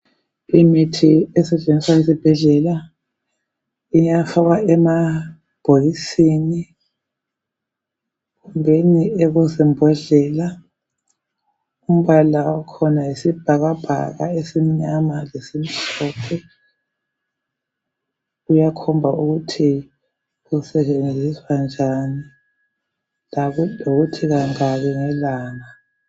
Imithi esetshenziswa esibhedlela iyafakwa emabhokisini kumbeni kuzimbodlela. Umbala wakhona yisibhakabhaka esimnyama lesimhlophe. Uyakhomba ukuthi usetshenziswa njani lokuthi kangaki ngelanga.